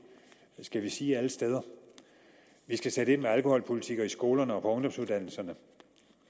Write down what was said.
skal vi sige alle steder vi skal sætte ind med alkoholpolitikker i skolerne og på ungdomsuddannelserne